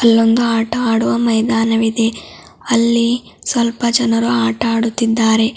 ಅಲ್ಲೊಂದು ಆಟ ಆಡುವ ಮೈದಾನ ವಿದೆ ಅಲ್ಲಿ ಸ್ವಲ್ಪ ಜನರು ಆಟ ಆಡುತ್ತಿದ್ದಾರೆ.